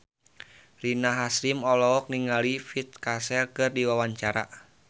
Rina Hasyim olohok ningali Vincent Cassel keur diwawancara